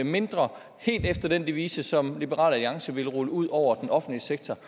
mindre helt efter den devise som liberal alliance ville rulle ud over den offentlige sektor